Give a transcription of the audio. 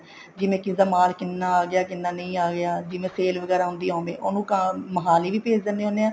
ਜਿਵੇਂ ਕਿਸੇ ਦਾ ਮਾਲ ਕਿੰਨਾ ਆਗਿਆ ਕਿੰਨਾ ਨਹੀਂ ਆਗਿਆ ਜਿਵੇਂ sale ਵਗੈਰਾ ਹੁੰਦੀ ਆ ਓਵੇਂ ਉਹਨੂੰ ਤਾਂ ਮੋਹਾਲੀ ਵੀ ਭੇਜ ਦਿੰਦੇ ਆ